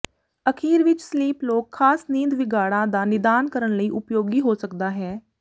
ਅਖੀਰ ਵਿੱਚ sleep log ਖਾਸ ਨੀਂਦ ਵਿਗਾੜਾਂ ਦਾ ਨਿਦਾਨ ਕਰਨ ਲਈ ਉਪਯੋਗੀ ਹੋ ਸਕਦਾ ਹੈ